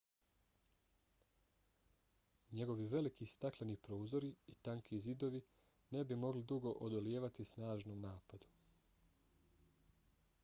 njegovi veliki stakleni prozori i tanki zidovi ne bi mogli dugo odolijevati snažnom napadu